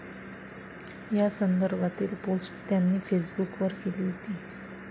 या संदर्भातील पोस्ट त्यांनी फेसबुकवर केली होती.